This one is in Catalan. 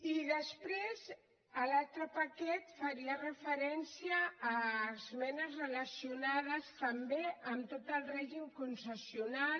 i després l’altre paquet faria referència a les esmenes relacionades també amb tot el règim concessional